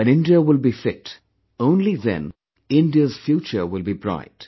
When India will be fit, only then India's future will be bright